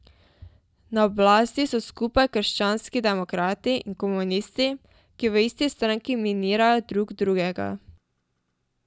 Na oblasti so skupaj krščanski demokrati in komunisti, ki v isti stranki minirajo drug drugega.